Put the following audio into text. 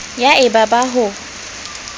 ya e ba ba ho